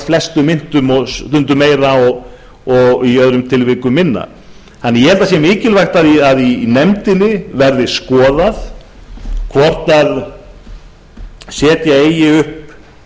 flestum myntum og stundum meir að í öðrum tilvikum minna ég held því að það sé mikilvægt að í nefndinni verði skoðað hvort setja eigi upp